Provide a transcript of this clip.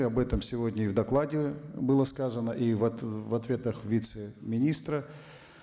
и об этом сегодня и в докладе было сказано и в ответах вице министра